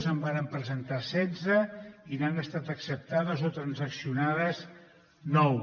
en vàrem presentar setze i n’han estat acceptades o transaccionades nou